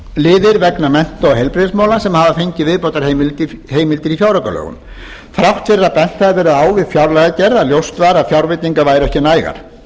ýmsu fjárlagaliðir vegna mennta og heilbrigðismála sem hafa fengið viðbótarheimildir í fjáraukalögum þrátt fyrir að bent hafi verið á við fjárlagagerð að ljóst var að fjárveitingar væru ekki nægar